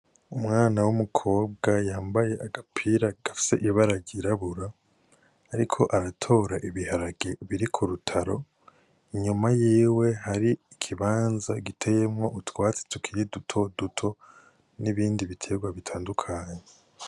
Umwana w' umukobwa yambaye agapira gafise ibara ryirabura ariko aratora ibiharage biri kurutaro inyuma yiwe hari ikibanza giteyemwo utwatsi tukiri duto duto n' ibindi bitegwa bitandukanye.